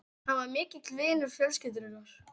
Hann var mikill vinur fjölskyldunnar.